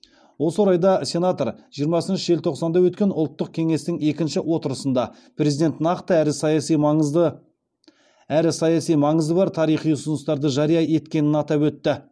осы орайда сенатор жиырмасыншы желтоқсанда өткен ұлттық кеңестің екінші отырысында президент нақты әрі саяси маңызы бар тарихи ұсыныстарды жария еткенін атап өтті